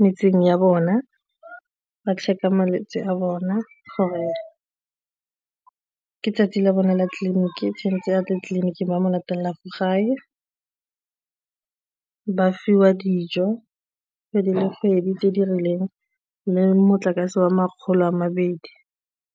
metseng ya bona ba check-a malwetse a bona gore ka 'tsatsi la bona la tleliniki tshwanetse a ya tleliniking ba mo latelea fa gae ba fiwa dijo kgwedi le kgwedi tse di rileng le motlakase wa makgolo a mabedi.